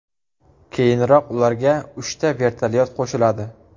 Keyinroq ularga uchta vertolyot qo‘shiladi.